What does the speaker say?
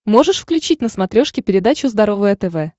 можешь включить на смотрешке передачу здоровое тв